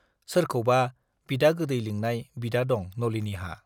सोरखौबा बिदा गोदै लिंनाय बिदा दं नलिनीहा।